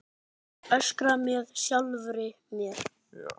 Öskra með sjálfri mér.